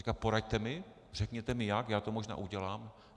Říkal: poraďte mi, řekněte mi jak, já to možná udělám.